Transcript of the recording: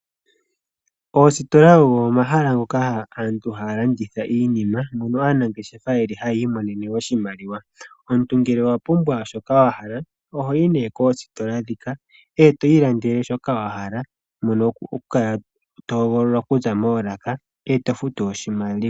Oositola ogo omahala ngoka aantu haya landitha iinima. Moka aanangeshefa yeli hayi imonene oshimaliwa. Omuntu ngele owa pumbwa shoka wa hala oho yi nee koositola dhika eto ilandele shoka wahala mono ho kala to hogolola shoka wahala eto futu oshimaliwa.